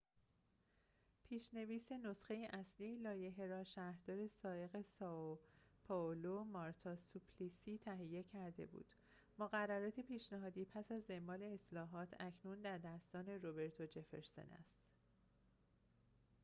پیش‌نویس نسخه اصلی لایحه را شهردار سابق سائو پائولو مارتا سوپلیسی تهیه کرده بود مقررات پیشنهادی پس از اعمال اصلاحات اکنون در دستان روبرتو جفرسون است